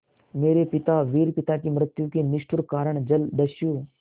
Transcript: मेरे पिता वीर पिता की मृत्यु के निष्ठुर कारण जलदस्यु